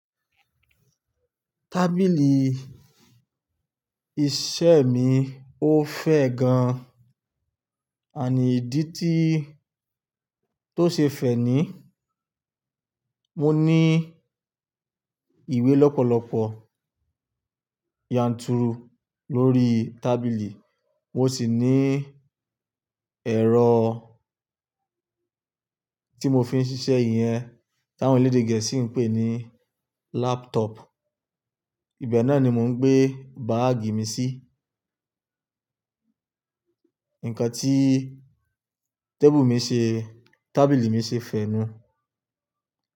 Tábìlì iṣẹ́ mi ó fẹ́ gan-an, and ìdí tí tó ṣe fẹ́ ni, mo ní ìwé lọ́pọ̀lọpọ̀ yanturu lórí tábìlì, mo sì ní ẹ̀rọ tí mo fi ń ṣiṣẹ́, íyẹn táwọn elédè Gẹ̀ẹ́sì ń pè ní laptop. Ibẹ̀ náà ni mò ń gbé báàgì mi sí. Ǹkan tí table mi, tabili mi ṣe fẹ́nu.